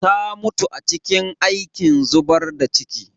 Ta mutu a cikin aikin zubar da ciki.